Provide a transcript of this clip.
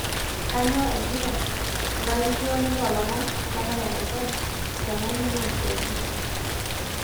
kanyoo ejito olalikioni loo lomon le mayian fm te naimin osiatini